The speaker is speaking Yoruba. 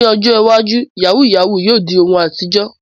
Ní ọjọ́ iwájú, yahoo yahoo yóò di ohun àtijọ́.